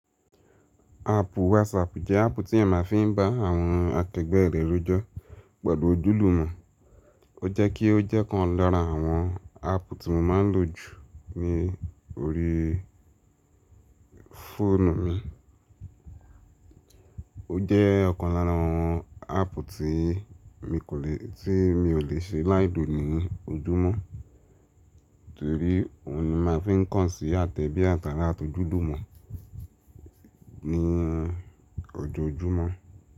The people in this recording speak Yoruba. Áàpù WhatsApp jẹ́ áàpù tí èeyan màá fi n ba àwọn akẹgbẹ́ rẹ rojọ pẹlu ojúlùmọ̀. O jẹ ki o jẹ kan lára àwọn áàpù tí mo ma n lo jù ní orí fóònù mi. O jẹ́ ọ̀kan lára àwọn áàpù tí mi kò le, tí mi ò le ṣe láìlo ní ojúmọ̀. Torí óhun ni màá fi n kàn sí àtẹ̀bí àtàrà atójùlùmọ̀ ní ọjọ̀ojúmọ̀